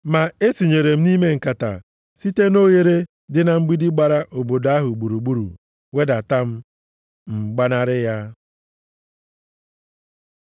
Ma e tinyere m nʼime nkata, site nʼoghere dị na mgbidi gbara obodo ahụ gburugburu wedata m, m gbanarị ya.